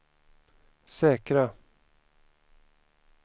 säkra